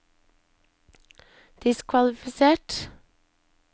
diskvalifisert